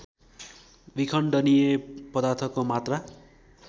विखण्डनीय पदार्थको मात्रा